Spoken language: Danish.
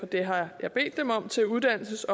det har jeg bedt dem om til uddannelses